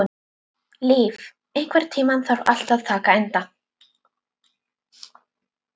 Líf, einhvern tímann þarf allt að taka enda.